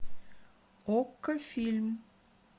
окко фильм